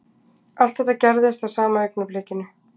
Allt þetta gerðist á sama augnablikinu